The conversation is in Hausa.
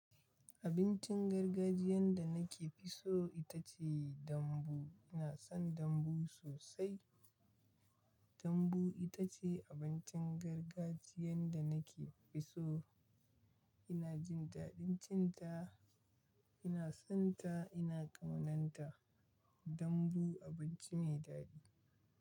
Abincin gargajiyan da na ke fi so ita ce dambu. Ina son dambu sosai. Dambu ita ce abincin gargajiyan da na ke fi so. Ina jin daɗin cin ta, ina son ta, ina ƙaunanta. Dambu abinci mai daɗi.